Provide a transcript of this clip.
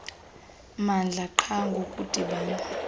mmandla qha ngokudibana